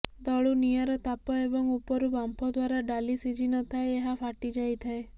ତଳୁ ନିଆଁର ତାପ ଏବଂ ଉପରୁ ବାମ୍ଫ ଦ୍ୱାରା ଡାଲି ଶିଝି ନଥାଏ ଏହା ଫାଟି ଯାଇଥାଏ